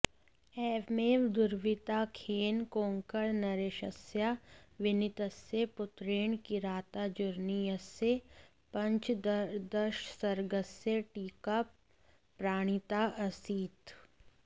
एवमेव दुर्विनीताख्येन कोङ्कणनरेशस्याविनीतस्य पुत्रेण किरातार्जुनीयस्य पञ्चदशसर्गस्य टीका प्रणीताऽऽसीत्